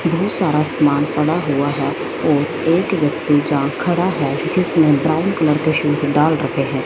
ढेर सारा सामान पड़ा हुआ है और एक व्यक्ति जहां खड़ा है जिसने ब्राउन कलर के शूज डाल रखे हैं।